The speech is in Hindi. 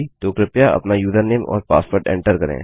तो कृपया अपना यूजरनेम और पासवर्ड एंटर करें